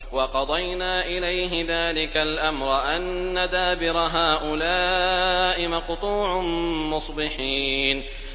وَقَضَيْنَا إِلَيْهِ ذَٰلِكَ الْأَمْرَ أَنَّ دَابِرَ هَٰؤُلَاءِ مَقْطُوعٌ مُّصْبِحِينَ